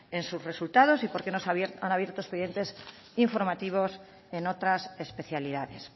en sus resultados y por qué no se han abierto expedientes informativos en otras especialidades